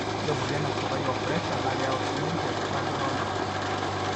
ore emoyian esukari opressure na keyau sininche enkitashoto oltau.